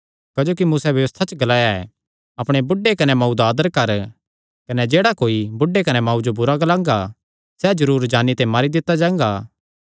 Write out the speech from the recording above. क्जोकि मूसैं व्यबस्था च ग्लाया ऐ अपणे बुढ़े कने मांऊ दा आदर कर कने जेह्ड़ा कोई बुढ़े कने मांऊ जो बुरा ग्लांगा सैह़ जरूर जान्नी ते मारी दित्ता जांगा